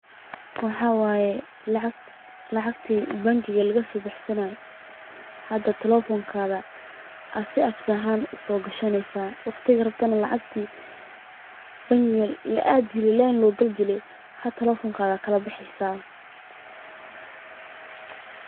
Waxaa waye lacagti bangiga lagasoo baxsanaye, telefonka ayaa soo gashaneysa, waqtiga bangiga la aadi jire hada telefonka ayaad kala baxeysa.